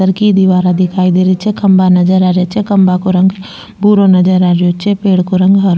घर की दिवारा दिखाई दे रही छे खम्भा नजर आ रिया छे खम्भा को रंग भूरो नजर आ रियो छे पेड़ को रंग हरो --